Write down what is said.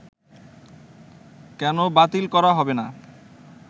কেন বাতিল করা হবেনা